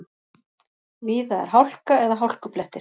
Víða er hálka eða hálkublettir